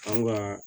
An ka